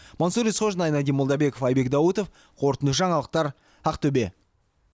мансұр есқожин айнадин молдабеков айбек даутов қорытынды жаңалықтар ақтөбе